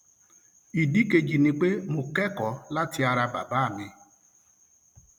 ìdí kejì ni pé mo kẹkọọ láti ara bàbá mi